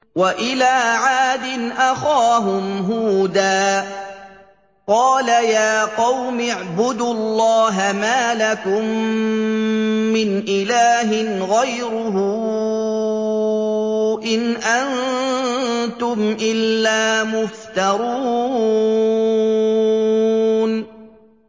وَإِلَىٰ عَادٍ أَخَاهُمْ هُودًا ۚ قَالَ يَا قَوْمِ اعْبُدُوا اللَّهَ مَا لَكُم مِّنْ إِلَٰهٍ غَيْرُهُ ۖ إِنْ أَنتُمْ إِلَّا مُفْتَرُونَ